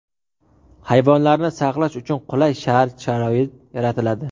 Hayvonlarni saqlash uchun qulay shart-sharoit yaratiladi.